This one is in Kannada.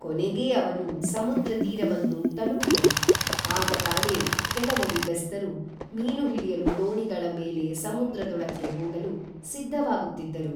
ಕೊನೆಗೇ ಅವನು ಸಮುದ್ರತೀರವನ್ನು ತಲುಪಿದನು, ಆಗತಾನೇ ಕೇಲವರು ಬೆಸ್ತರು ಮೀನು ಹಿಡಿಯಲು ದೋಣಿಗಳ ಮೇಲೆ ಸಮುದ್ರದೊಳಕ್ಕೇ ಹೋಗಲು ಸಿದ್ಧವಾಗುತ್ತಿದ್ದರು